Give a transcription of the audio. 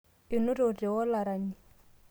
enotote olarani